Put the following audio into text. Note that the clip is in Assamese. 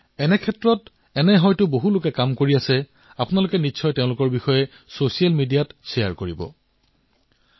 আৰু বহুলোকে এই ক্ষেত্ৰত কাম কৰি আছে আপোনালোকে তেওঁলোকৰ বিষয়ে ছচিয়েল মিডিয়াত নিশ্চয়কৈ প্ৰচাৰ কৰক